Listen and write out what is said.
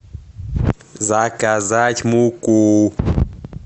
заказать муку